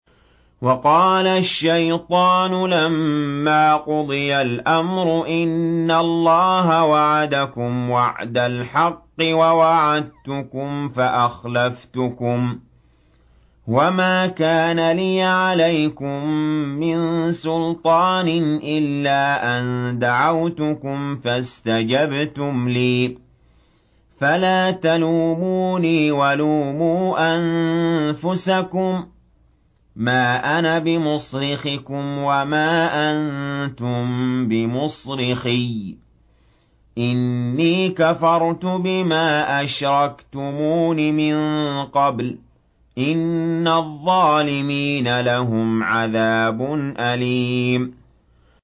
وَقَالَ الشَّيْطَانُ لَمَّا قُضِيَ الْأَمْرُ إِنَّ اللَّهَ وَعَدَكُمْ وَعْدَ الْحَقِّ وَوَعَدتُّكُمْ فَأَخْلَفْتُكُمْ ۖ وَمَا كَانَ لِيَ عَلَيْكُم مِّن سُلْطَانٍ إِلَّا أَن دَعَوْتُكُمْ فَاسْتَجَبْتُمْ لِي ۖ فَلَا تَلُومُونِي وَلُومُوا أَنفُسَكُم ۖ مَّا أَنَا بِمُصْرِخِكُمْ وَمَا أَنتُم بِمُصْرِخِيَّ ۖ إِنِّي كَفَرْتُ بِمَا أَشْرَكْتُمُونِ مِن قَبْلُ ۗ إِنَّ الظَّالِمِينَ لَهُمْ عَذَابٌ أَلِيمٌ